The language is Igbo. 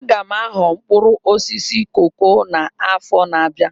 Aga m aghọ mkpụrụ osisi koko a n'afọ na-abịa